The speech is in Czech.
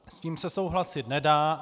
S tím se souhlasit nedá.